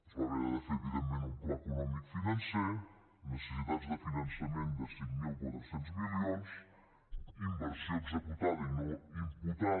es va haver de fer evidentment un pla econòmic financer necessitats de finançament de cinc mil quatre cents milions inversió executada i no imputada